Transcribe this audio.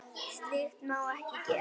Slíkt má ekki gerast.